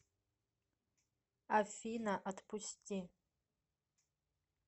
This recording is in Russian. афина отпусти